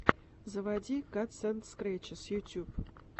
заводи катсэндскрэтчес ютьюб